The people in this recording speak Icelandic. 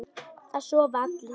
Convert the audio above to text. Það sofa allir.